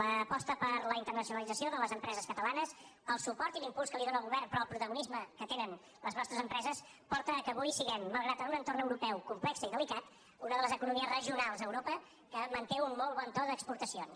l’aposta per la internacionalització de les empreses catalanes el suport i l’impuls que li dóna el govern però el protagonisme que tenen les nostres empreses porta que avui siguem malgrat un entorn europeu complex i delicat una de les economies regionals a europa que manté un molt bon to d’exportacions